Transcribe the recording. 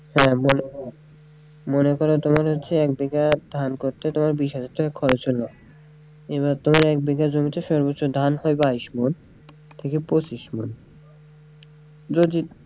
হ্যাঁ মনে করেন তোমার হচ্ছে এক বিঘা ধান করতে তোমার বিশ হাজার টাকা খরচ হইলো এবার ধরো এক বিঘা জমিতে সর্বচ্চ ধান হয় বাইশ মোল থেকে পঁচিশ মোল যদি,